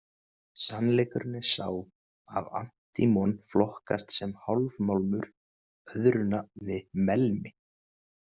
Sannleikurinn er sá að antímon flokkast sem hálfmálmur, öðru nafni melmi.